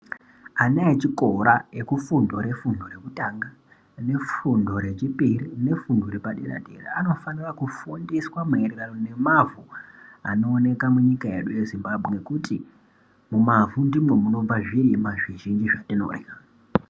Ana echikora ekufundo refundo rekutanga nefundo rechipiri nefundo repaderaa-dera anofanira kufundiswa maererano nemavhu anooneka munyika yedu yeZimbabwe nekuti mumavhu ndimwo munobva zvirimwa zvizhinji zvatinorya.